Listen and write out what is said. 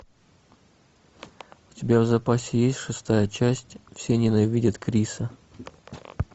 у тебя в запасе есть шестая часть все ненавидят криса